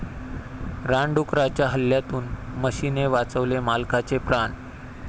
रानडुकराच्या हल्ल्यातून म्हशीने वाचवले मालकाचे प्राण!